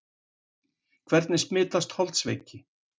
Hvernig smitast holdsveiki?